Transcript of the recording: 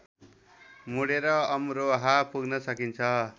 मुडेर अमरोहा पुग्न सकिन्छ